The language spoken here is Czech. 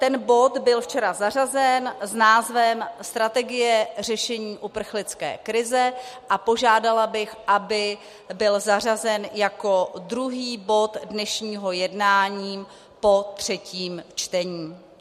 Ten bod byl včera zařazen s názvem Strategie řešení uprchlické krize a požádala bych, aby byl zařazen jako druhý bod dnešního jednání po třetím čtení.